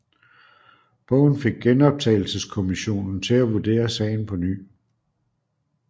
Bogen fik Genoptagelseskommissionen til at vurdere sagen på ny